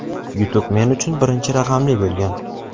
yutuq men uchun birinchi raqamli bo‘lgan.